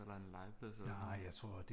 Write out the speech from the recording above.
Er der en legeplads eller sådan noget